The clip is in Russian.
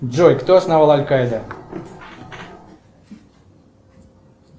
джой кто основал аль кайда